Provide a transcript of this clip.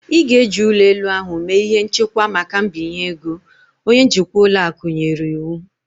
Ị ga-eji ụlọ elu ahụ mee ihe nchekwa maka mbinye ego" Onye njikwa ụlọ akụ nyere iwu